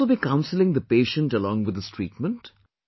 You must also be counselling the patient along with his treatment